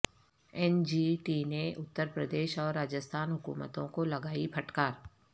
N G T نے اترپردیش اور راجستھان حکومتوں کو لگائی پھٹکار